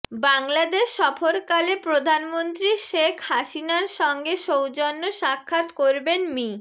বাংলাদেশ সফরকালে প্রধানমন্ত্রী শেখ হাসিনার সঙ্গে সৌজন্য সাক্ষাৎ করবেন মি